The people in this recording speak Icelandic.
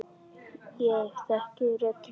Ég þekki rödd þína.